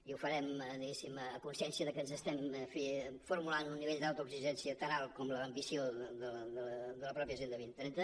i ho farem diguéssim a consciència perquè ens estem en fi formulant un nivell d’autoexigència tan alt com l’ambició de la mateixa agenda dos mil trenta